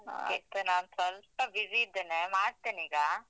ನಾನ್ ಸ್ವಲ್ಪ busy ಇದ್ದೇನೆ, ಮಾಡ್ತೇನೀಗ.